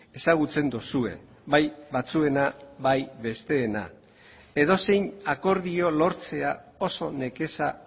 ezagutzen duzue bai batzuena bai besteena edozein akordio lortzea oso nekeza